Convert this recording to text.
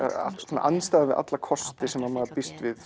kostir andstæðan við alla kosti sem maður býst við